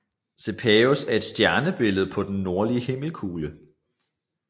Cepheus er et stjernebillede på den nordlige himmelkugle